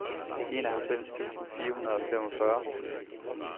enoghalvfems tusind fire hundrede og femogfyrre